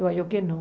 Eu acho que não.